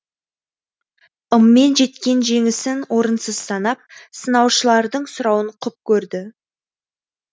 ыммен жеткен жеңісін орынсыз санап сынаушылардың сұрауын құп көрді